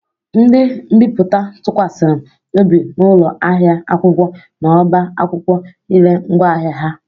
Ndi mbiputa tụkwasịrị obi na ụlọ ahịa akwụkwọ na ọbá akwụkwọ i ree ngwaahịa ha.